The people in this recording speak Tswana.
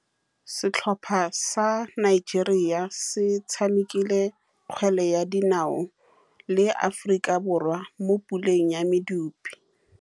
Setlhopha sa Nigeria se tshamekile kgwele ya dinaô le Aforika Borwa mo puleng ya medupe.